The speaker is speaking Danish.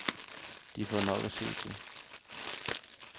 De får nok at se til.